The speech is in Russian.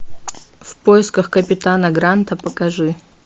в поисках капитана гранта покажи